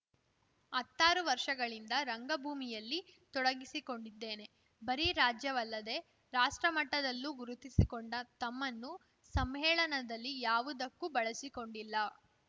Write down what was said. ಹತ್ತಾರು ವರ್ಷಗಳಿಂದ ರಂಗಭೂಮಿಯಲ್ಲಿ ತೊಡಗಿಸಿಕೊಂಡಿದ್ದೇನೆ ಬರೀ ರಾಜ್ಯವಲ್ಲದೆ ರಾಷ್ಟ್ರಮಟ್ಟದಲ್ಲೂ ಗುರುತಿಸಿಕೊಂಡ ತಮ್ಮನ್ನು ಸಮ್ಮೇಳನದಲ್ಲಿ ಯಾವುದಕ್ಕೂ ಬಳಸಿಕೊಂಡಿಲ್ಲ